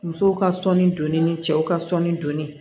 Musow ka sɔnni donni cɛw ka sɔnni doni